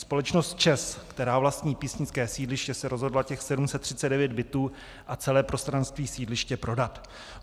Společnost ČEZ, která vlastní písnické sídliště, se rozhodla těch 739 bytů a celé prostranství sídliště prodat.